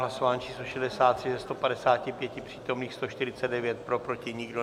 Hlasování číslo 63, ze 155 přítomných 149 pro, proti nikdo.